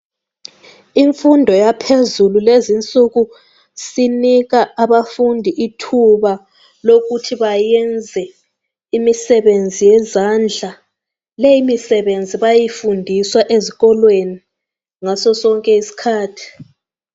Imfundo yaphezulu lezinsuku sinika abafundi ithuba lokuthi bayenze imisebenzi yezandla. Leyimisebenzi bayayifundiswa ezikolweni ngaso sonke isikhathi